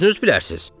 Özünüz bilərsiz.